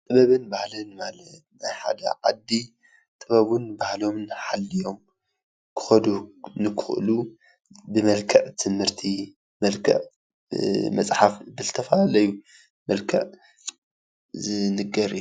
ጥበብን ባህሊን ማለት ንሓደ ዓዲ ጥበቡን ባህሎምን ሓሊዮም ክከዱ ንክክእሉ ብመልክዕ ትምህርቲ ፣ብመልክዕ መፅሓፍ ብዝተፈላለዩ መልክዕ ዝንገር እዩ።